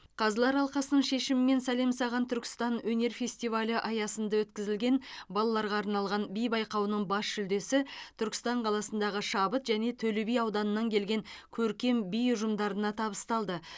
қазылар алқасының шешімімен сәлем саған түркістан өнер фестивалі аясында өткізілген балаларға арналған би байқауының бас жүлдесі түркістан қаласындағы шабыт және төлеби ауданыннан келген көркем би ұжымдарына табысталды